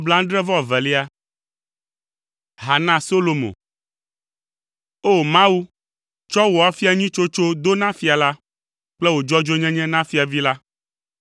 Ha na Solomo. O! Mawu, tsɔ wò afia nyui tsotso do na fia la, kple wò dzɔdzɔenyenye na fiavi la.